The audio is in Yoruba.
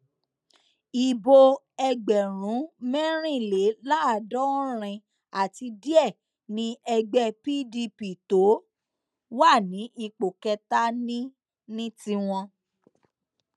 ibo ẹgbẹrún mẹrìnléláàádọrin àti díẹ ni ẹgbẹ pdp tó wà ní ipò kẹta ní ní tiwọn